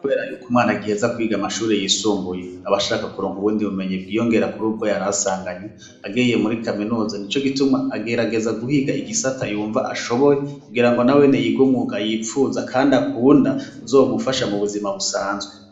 Kubera yuko mwana agiheza kwiga amashuri yisumbuye, abashaka kuronka ubundi bumenyi bwiyongera kur'ubwo yarasanganywe ,agiye muri kaminuza nico gituma agerageza guhiga igisata yumva ashoboye ,kugira ngo nawene yig'umwuga yipfuza kand' akunda uzomufasha mu buzima busanzwe